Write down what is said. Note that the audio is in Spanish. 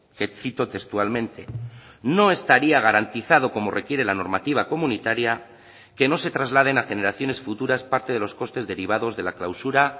que cito textualmente no estaría garantizado como requiere la normativa comunitaria que no se trasladen a generaciones futuras parte de los costes derivados de la clausura